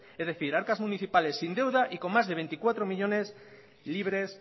es decir arcas municipales sin deuda y con más de veinticuatro millónes libres